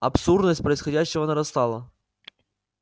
абсурдность происходящего нарастала